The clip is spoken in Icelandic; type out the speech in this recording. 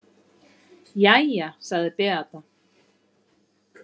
Jæja, sagði Beata.